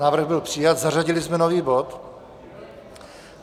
Návrh byl přijat, zařadili jsme nový bod.